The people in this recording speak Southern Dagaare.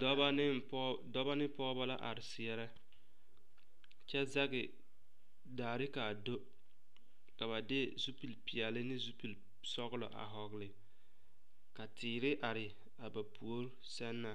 Dɔba ne pɔge dɔba ne pɔgeba la are seɛrɛ kyɛ zage daare ka a do ka ba de zupilpeɛlle ne zupilsɔglɔ a vɔgle ka teere are a ba puoriŋ sɛŋ na